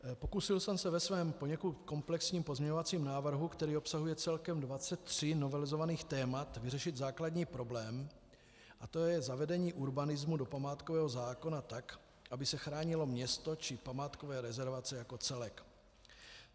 Pokusil jsem se ve svém poněkud komplexním pozměňovacím návrhu, který obsahuje celkem 23 novelizovaných témat, vyřešit základní problém, a to je zavedení urbanismu do památkového zákona tak, aby se chránilo město či památkové rezervace jako celek.